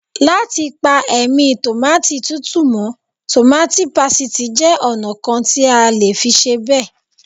Láti pa ẹ̀mí Tòmáátì tútù mọ́, tòmáátì pásítìì jẹ́ ọ̀nà kan tí a lè fi ṣe bẹ́ẹ̀.